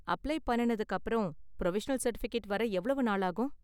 Apply பண்ணுனதுக்கு அப்புறம் provisional certificate வர எவ்வளவு நாளாகும்?